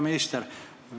Hea minister!